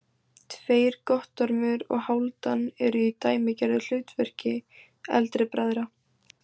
Tveir, Guttormur og Hálfdan, eru í dæmigerðu hlutverki eldri bræðra.